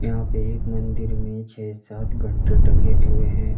आप एक मंदिर में छं सात घंटे टंगे हुए हैं।